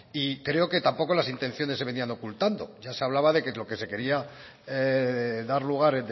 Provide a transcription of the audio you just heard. y creo que tampoco las intenciones se venían ocultando ya se hablaba de que lo que se quería dar lugar